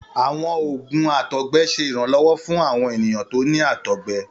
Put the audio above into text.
Àwọn òògùn àtọgbẹ ṣe ìrànlọ́wọ́ fún àwọn ènìyàn tí o ni àtọgbẹ.